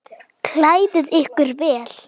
Klæðið ykkur vel.